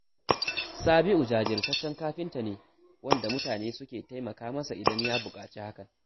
Sabi’u jajirtaccen kafinta ne, wanda mutane suke taimaka masa, idan ya buƙaci hakan